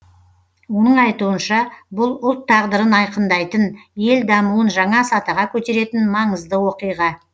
оның айтуынша бұл ұлт тағдырын айқындайтын ел дамуын жаңа сатыға көтеретін маңызды оқиға